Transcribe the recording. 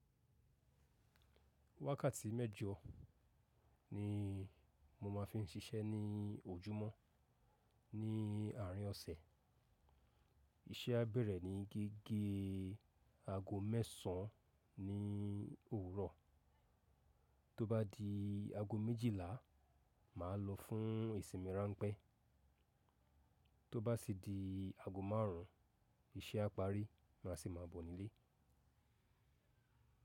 Wákàtí mẹ́jo ni mo ma fi ń ṣiṣẹ́ ní ojúmọ́ ní àárín ọ̀sẹ̀. Iṣẹ́ á bẹ̀rẹ̀ ní gẹ́gẹ́ aago mẹ́sàn án ní òwúrọ̀, tó bá di aago méjìlá, máa lọ fún ìsinmi ránpẹ́, tó bá sì di aago márùn ún, iṣẹ́ á parí, má sì ma bọ̀ nílé.